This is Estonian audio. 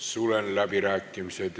Sulen läbirääkimised.